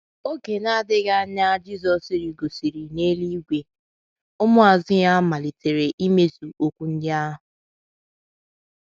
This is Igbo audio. Oge na - adịghị anya Jizọs rigosịrị n’eluigwe, ụmụazu ya malitere imezu okwu ndị ahụ.